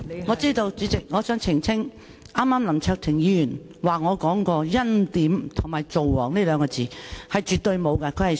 我知道，代理主席，我想澄清，剛才林卓廷議員引述我說過"欽點"和"造王"這兩個詞，絕對沒有其事。